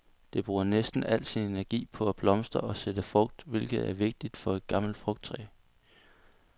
Det bruger næsten al sin energi på at blomstre og sætte frugt, hvilket er det vigtigste for et gammelt frugttræ.